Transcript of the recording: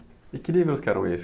E que livros que eram esses?